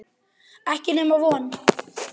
Ekki nema von.